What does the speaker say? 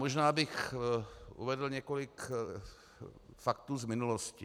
Možná bych uvedl několik faktů z minulosti.